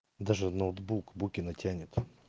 даже ноутбук букина тянет